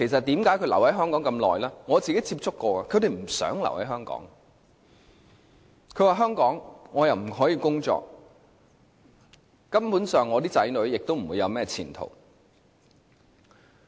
我曾與他們接觸，他們都不想留在香港，說在香港不可以工作，子女亦不會有甚麼前途。